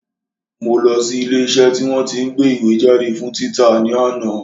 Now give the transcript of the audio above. Mo lọ sí ilé iṣẹ́ tí wọ́n tí ń gbé ìwé jáde fún títa ní àná